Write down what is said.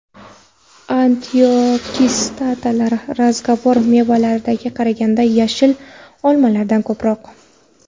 Antioksidantlar rezavor mevalardagiga qaraganda yashil olmalarda ko‘proq.